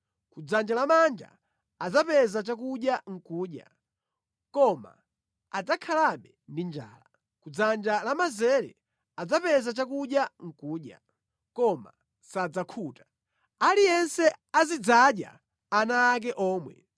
Kudzanja lamanja adzapeza chakudya nʼkudya, koma adzakhalabe ndi njala; kudzanja lamanzere adzapeza chakudya nʼkudya, koma sadzakhuta. Aliyense azidzadya ana ake omwe.